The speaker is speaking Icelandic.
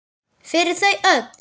Fyrir þau öll!